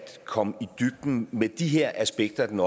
komme i dybden med de her aspekter af den